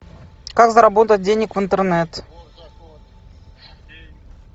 как заработать денег в интернет